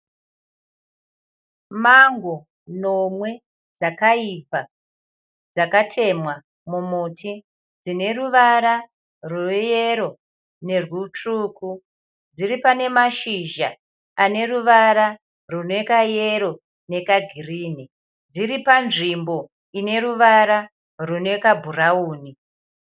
Mango nomwe dzakaibva dzakatemwa mumuti dzine ruvara rweyero nerwutsvuku. Dziri pane mashizha ane ruvara rwune kayero nekagirinhi. Dziri panzvimbo ine ruvara rune kabhurawuni.